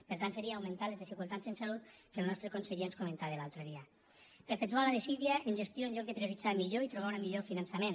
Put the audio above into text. per tant seria augmentar les desigualtats en salut que el nostre conseller ens comentava l’altre dia perpetuar la desídia en gestió en lloc de prioritzar millor i trobar un millor finançament